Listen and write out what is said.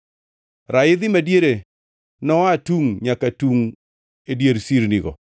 Raidhi madiere noa tungʼ nyaka tungʼ e dier sirnigo.